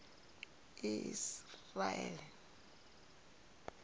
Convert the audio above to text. isiraele